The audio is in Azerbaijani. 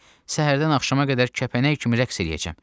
Səhərdən axşama qədər kəpənək kimi rəqs eləyəcəm.